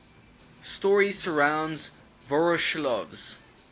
story surrounds voroshilov's